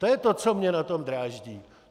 To je to, co mě na tom dráždí.